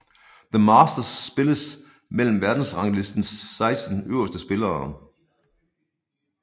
The Masters spilles mellem verdensranglistens 16 øverste spillere